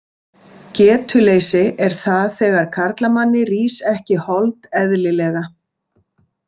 Getuleysi er það þegar karlamanni rís ekki hold eðlilega.